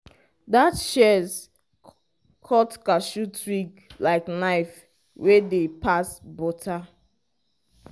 that shears cut cashew twig like knife wey dey pass butter.